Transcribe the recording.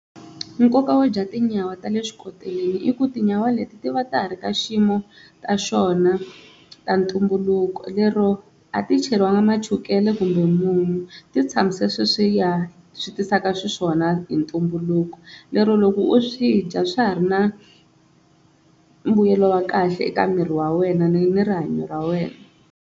Nkoka wo dya tinyawa ta le xikoteleni i ku tinyawa leti ti va ta ha ri ka xiyimo ta xona ta ntumbuluko, lero a ti cheriwanga machukele kumbe munyu ti tshamise sweswiya swi tisaka xiswona hi ntumbuluko, lero loko u swi dya swa ha ri na mbuyelo wa kahle eka miri wa wena ni ni rihanyo ra wena.